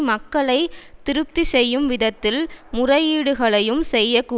மக்களை திருப்தி செய்யும் விதத்தில் முறையீடுகளையும் செய்ய கூடும்